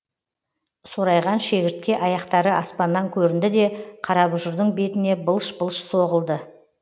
сорайған шегіртке аяқтары аспаннан көрінді де қарабұжырдың бетіне былш былш соғылды